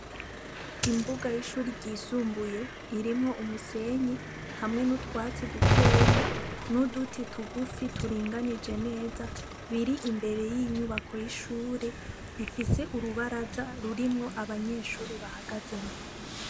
Imbuga y'ishure ryisumbuye irimwo umusenyi hamwe n'utwatsi dukeyi n'uduti tugufi turinganije neza, riri imbere y'inyubako y'ishure rifise urubaza rurimwo abanyeshure bahagazemwo.